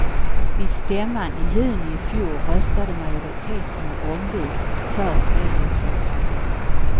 Vid stämman i juni i fjol röstade majoriteten av ombud för föreningslösningen.